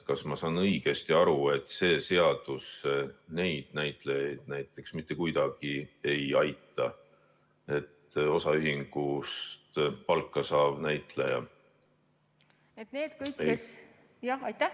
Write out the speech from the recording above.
Kas ma saan õigesti aru, et see seadus neid näitlejaid mitte kuidagi ei aita, osaühingust palka saavaid näitlejaid?